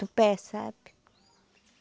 Tupé, sabe?